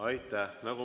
Aitäh!